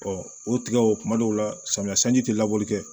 o tigɛ o kuma dɔw la samiya sanji tɛ labɔli kɛ